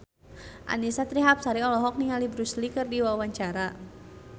Annisa Trihapsari olohok ningali Bruce Lee keur diwawancara